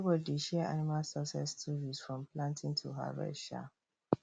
everybody dey share animal success stories from planting to harvest um